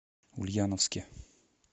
ульяновске